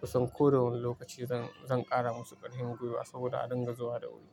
Kusan ko da wane lokaci zan, zan ƙara musu ƙarfin gwiwa saboda a dinga zuwa da wuri.